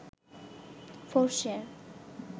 4share